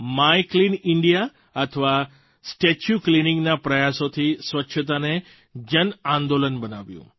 my clean India અથવા statue Cleaningના પ્રયાસોથી સ્વચ્છતાને જન આંદોલન બનાવ્યું